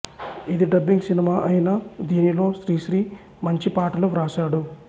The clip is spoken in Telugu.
ఇది డబ్బింగ్ సినిమా అయినా దీనిలో శ్రీశ్రీ మంచి పాటలు వ్రాశాడు